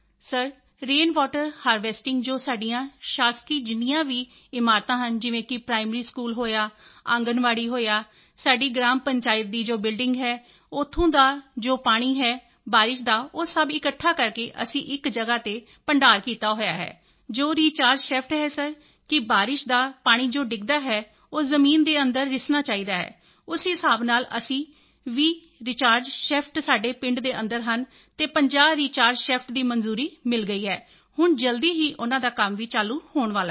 sir rain water harvesting ਜੋ ਸਾਡੀਆਂ ਸ਼ਾਸਕੀ ਜਿੰਨੀਆਂ ਵੀ ਇਮਾਰਤਾਂ ਹਨ ਜਿਵੇਂ ਕਿ ਪ੍ਰਾਇਮਰੀ ਸਕੂਲ ਹੋਇਆ ਆਂਗਣਵਾੜੀ ਹੋਇਆ ਸਾਡੀ ਗ੍ਰਾਮ ਪੰਚਾਇਤ ਦੀ ਜੋ ਬਿਲਡਿੰਗ ਹੈ ਉੱਥੋਂ ਦਾ ਜੋ ਪਾਣੀ ਹੈ ਬਾਰਿਸ਼ ਦਾ ਉਹ ਸਭ ਇਕੱਠਾ ਕਰਕੇ ਅਸੀਂ ਇਕ ਜਗ੍ਹਾ ਤੇ ਭੰਡਾਰ ਕੀਤਾ ਹੋਇਆ ਹੈ ਜੋ ਰੀਚਾਰਜ ਸ਼ੈਫਟ ਹੈ ਸਰ ਕਿ ਬਾਰਿਸ਼ ਦਾ ਪਾਣੀ ਜੋ ਡਿੱਗਦਾ ਹੈ ਉਹ ਜ਼ਮੀਨ ਦੇ ਅੰਦਰ ਰਿਸਣਾ ਚਾਹੀਦਾ ਹੈ ਉਸ ਹਿਸਾਬ ਨਾਲ ਅਸੀਂ 20 ਰੀਚਾਰਜ ਸ਼ੈਫਟ ਸਾਡੇ ਪਿੰਡ ਦੇ ਅੰਦਰ ਹਨ ਅਤੇ 50 ਰੀਚਾਰਜ ਸ਼ੈਫਟ ਦੀ ਮਨਜ਼ੂਰੀ ਮਿਲ ਗਈ ਹੈ ਹੁਣ ਜਲਦੀ ਹੀ ਉਨ੍ਹਾਂ ਦਾ ਕੰਮ ਵੀ ਚਾਲੂ ਹੋਣ ਵਾਲਾ ਹੈ